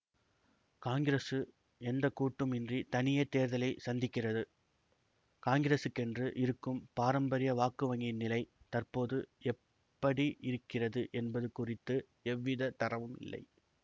காங்கிரசு எந்த கூட்டும் இன்றி தனியே தேர்தலை சந்திக்கிறது காங்கிரசுக்கென்று இருக்கும் பாரம்பரிய வாக்குவங்கியின் நிலை தற்போது எப்படி இருக்கிறது என்பது குறித்து எவ்விதத் தரவும் இல்லை